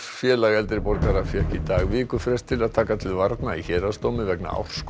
félag eldri borgara fékk í dag vikufrest til að taka til varna í héraðsdómi vegna